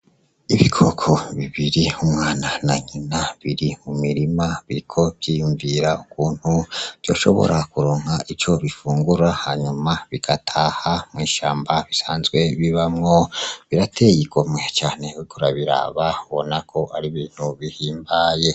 Ibikoko bibiri umwana na nyina biri mumirima biriko vyiyumvira ukuntu vyoshobora kuronka ico bifungura hanyuma bigataha mw'ishamba bisanzwe bibamwo birateye igomwe uriko urabiraba ubona ko ari ibintu bihimbaye.